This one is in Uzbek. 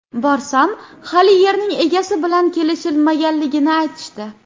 Borsam, hali yerning egasi bilan kelishilmaganligini aytishdi.